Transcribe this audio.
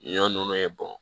Ɲɔ nunnu ye bɔn